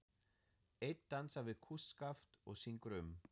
Einn dansar við kústskaft og syngur um